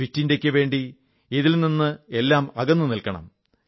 fit ഇന്ത്യയ്ക്കു വേണ്ടി ഇതിൽ നിന്നെല്ലാം അകന്നു നിൽക്കണം